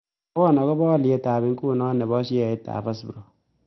Mwawon agoboo alyetap inguniton ne po sheaitap hasbro